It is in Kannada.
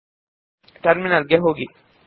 ಈಗ ನಾವು ಟರ್ಮಿನಲ್ ಗೆ ಹೋಗೋಣ